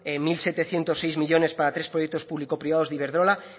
mil setecientos seis millónes para tres proyectos público privados de iberdrola